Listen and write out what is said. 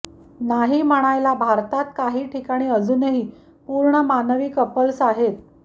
नाही म्हणायला भारतात काही ठिकाणी अजूनही पूर्ण मानवी कपल्स आहेत